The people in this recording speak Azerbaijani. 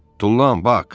Tullan, Bak!